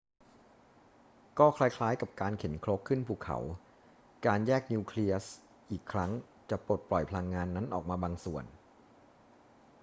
ก็คล้าย ๆ กับการเข็นครกขึ้นภูเขา การแยกนิวเคลียสอีกครั้งจะปลดปล่อยพลังงานนั้นออกมาบางส่วน